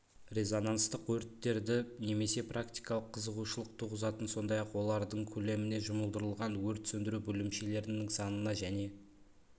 резонанстық өрттерді немесе практикалық қызығушылық туғызатын сондай-ақ олардың көлеміне жұмылдырылған өрт сөндіру бөлімшелерінің санына және